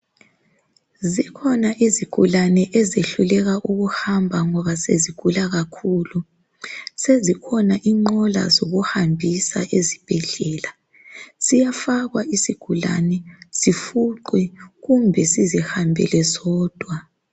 Zikhona izigulani ezehluleka ukuhamba ngoba sezigula kakhulu sezikhona iqola zokuhambisa ezibhedlela siyafakwa isigulane sifuqwe kumbe sizihambele sodwa.